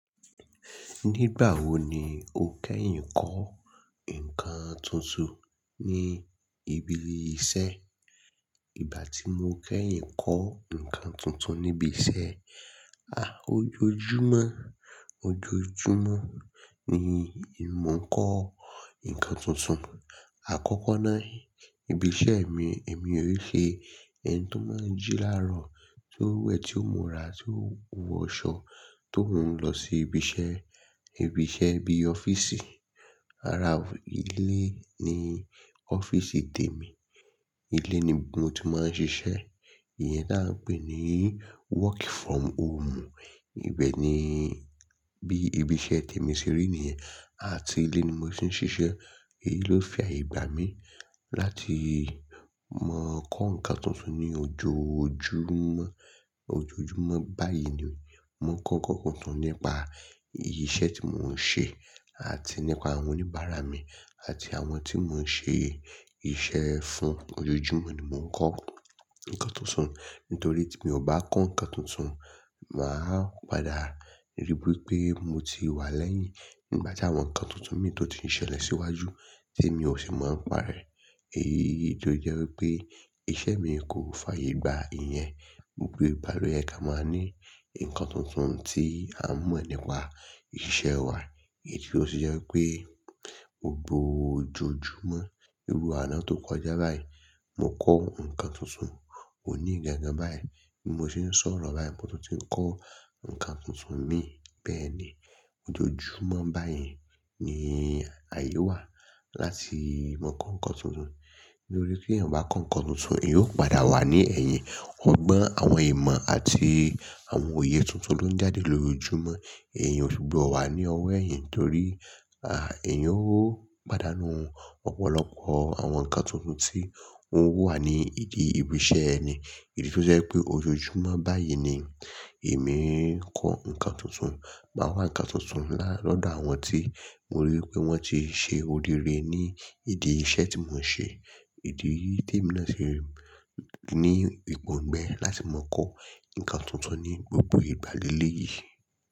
Nígbà wo ni o kẹ́yìn kọ́ nǹkan tuntun ní ibi iṣẹ́? Ìgbà tí mo kẹ́yìn kọ́ nǹkan tuntun níbi iṣẹ́, ah, ojoojúmọ́, ojoojúmọ́ ni mò ń kọ́ nǹkan tuntun. Àkọ́kọ́ náà ibi iṣẹ́ mi, èmi on ṣe ẹni tó máa ń jí láàárọ̀, tí ó wẹ̀, tí ó múra, tí ó hun wọṣọ, tó oun lọ sí ibi iṣẹ́. Ibi iṣẹ́ bí ọ́fíìsì. Ara ilé ni ọ́fíìsì tèmi. Ilé ni mo ti máa ń ṣiṣẹ́. Iyẹn táa ń pè ní work from home. Ibẹ̀ ni bí ibi iṣẹ́ tèmi ṣe rí nìyẹn. Àti ilé ni mo ti ń ṣiṣẹ́. Èyí ló fi àyè gbà mí láti máa kọ́ nǹkan tuntun ní ojoojúmọ́. Ojoojúmọ́ báyìí ni mò ń kọ́ nǹkan tuntun nípa iṣẹ́ tí mò ń ṣe àti nípa àwọn oníbàárà mi àti àwọn tí mò ń ṣe iṣẹ́ fún. Ojoojúmọ́ ni mò ń kọ́ nǹkan tuntun. Nítorí tí mi ò bá kọ́ nǹkan tuntun, màá padà ri pé mo ti wà lẹ́yìn nígbà tí àwọn nǹkan tuntun mi tó ti ń ṣẹlẹ̀ síwájú tí èmi ò sì máa ń parẹ́. Èyi tó jẹ́ wí pé iṣẹ́ mii kò fàyè gbà iyẹn. Gbogbo ìgba lò yẹ ká máa ní nǹkan tuntun tí à ń mọ̀ nípa iṣẹ́ wa. Èyí tó sì jẹ́ pé gbogbo ojoojúmọ́, irú àná tó kọjá báyìí, mo kọ́ nǹkan tuntun. Òní gangan báyìí tí mo ti ń sọ̀rọ̀ báyìí mo tún ti ń kọ́ nǹkan tuntun mi. Bẹ́ẹ̀ ni ojoojúmọ́ báyìí ni àyè wà láti máa kọ́ nǹkan tuntun. Nítorí tí èèyàn o bá kọ́ nǹkan tuntun, èèyàn ó padà wà ní ẹ̀yìn. Ọgbọ́n àwọn ìmọ̀ àti àwọn òye tuntun ló ń jáde lójoojúmọ́. Èèyàn ó ṣubọ wà ní ọwọ́ ẹ̀yìn torí, à, èèyan ó pàdánù ọ̀pọ̀lọpọ̀ àwọn nǹkan tuntun tí oń wa wá ní ìdí ibi iṣẹ́ ẹni. Èyí tó jẹ́ pé ojoojúmọ́ báyìí ni èmi ń kọ́ nǹkan tuntun. Màá wá nǹkan tuntun lá lọ́dọ̀ àwọn tí mo rí i pé wọ́n ti ṣe o rire ní ìdí iṣẹ́ tí mò ń ṣe. Idí yìí tèmi náà ṣe ní ìpọ̀ǹgbẹ́ láti máa kọ́ nǹkan tuntun ní gbogbo ìgbàléle yìí.